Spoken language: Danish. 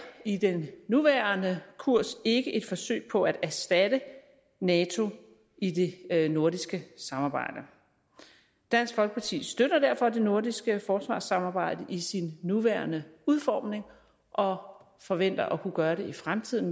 i den nuværende kurs ikke et forsøg på at erstatte nato i det nordiske samarbejde dansk folkeparti støtter derfor det nordiske forsvarssamarbejde i sin nuværende udformning og forventer også at kunne gøre det i fremtiden